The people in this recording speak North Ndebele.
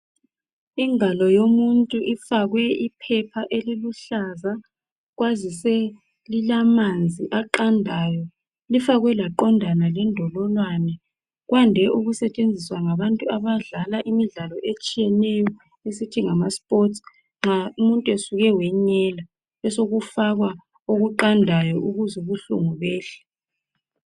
ingalo yomuntu ifakwe iphepha eliluhlaza kwazise lilamanzi aqandayo lifakwe laqondana le ndololwana kwande ukusetshenziswa ngabantu abadlal imidlalo etshiyeneyo esithi ngama sports nxa umuntu esuke wanyela besekufakwa okuqandayo ukuze ubuhlungu behle